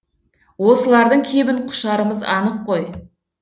осылардың кебін құшарымыз анық қой